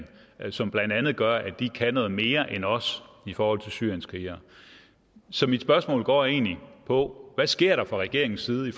som blandt andet gør at de kan noget mere end os i forhold til syrienskrigere så mit spørgsmål går egentlig på hvad sker der fra regeringens side i